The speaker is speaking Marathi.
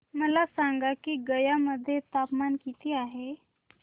मला सांगा की गया मध्ये तापमान किती आहे